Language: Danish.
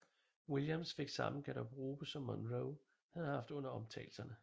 Williams fik samme garderobe som Monroe havde haft under optagelserne